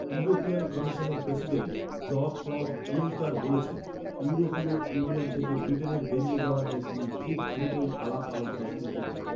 European কমিশনের president Jean Claude Juncker বলেছেন, ইউরোপীয় ইউনিয়ন থকে ব্রিটেনের বেরিয়ে যাওয়া নিয়ে তিনি খুব দ্রুতই আলাপ আলোচনা শুরু করবেন